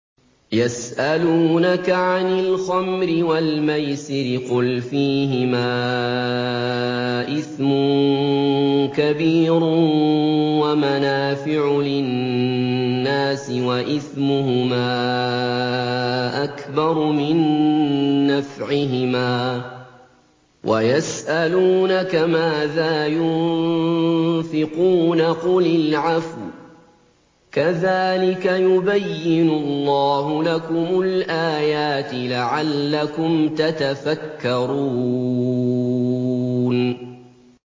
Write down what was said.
۞ يَسْأَلُونَكَ عَنِ الْخَمْرِ وَالْمَيْسِرِ ۖ قُلْ فِيهِمَا إِثْمٌ كَبِيرٌ وَمَنَافِعُ لِلنَّاسِ وَإِثْمُهُمَا أَكْبَرُ مِن نَّفْعِهِمَا ۗ وَيَسْأَلُونَكَ مَاذَا يُنفِقُونَ قُلِ الْعَفْوَ ۗ كَذَٰلِكَ يُبَيِّنُ اللَّهُ لَكُمُ الْآيَاتِ لَعَلَّكُمْ تَتَفَكَّرُونَ